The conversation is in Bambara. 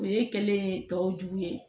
O ye kɛlen ye tɔw jugu ye